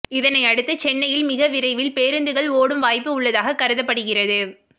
இதனையடுத்து சென்னையில் மிக விரைவில் பேருந்துகள் ஓடும் வாய்ப்பு உள்ளதாக கருதப்படுகிறது